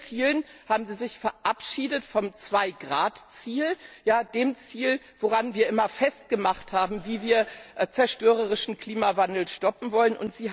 Mit Ihren Zielen haben Sie sich verabschiedet vom 2 Grad Ziel, dem Ziel, woran wir immer festgemacht haben, wie wir den zerstörerischen Klimawandel stoppen wollen.